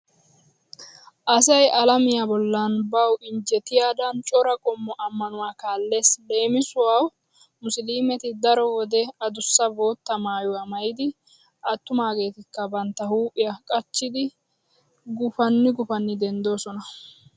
Asay alamiya bollan bawu injjetiyadan cora qommo ammanuwa kaallees. Leemisuwawu musiliimet daro wode adussa bootta maayuwa maayidi attumaageetikka bantta huuphiya qacidi gufanni gufanni denddoosona.